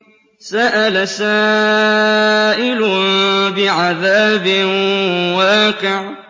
سَأَلَ سَائِلٌ بِعَذَابٍ وَاقِعٍ